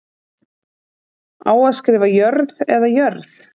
Á að skrifa Jörð eða jörð?